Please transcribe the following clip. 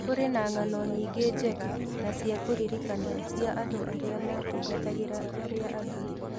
Kũrĩ na ng'ano nyingĩ njega na cia kũririkanwo cia andũ arĩa maatungatagĩra arĩa angĩ.